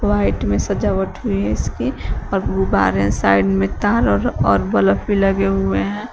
White में सजावट हुई है इसके और गुब्बारे साइड में तार और और बल्ब भी लगे हुए हैं।